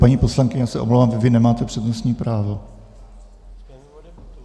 Paní poslankyně, já se omlouvám, vy nemáte přednostní právo.